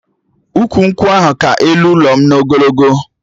Ukwu nkwụ ahụ ka ụlọ elu m n'ogologo